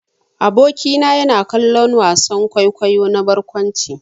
Aboki na yana kallon wasan kwaikwayo na barkwanci.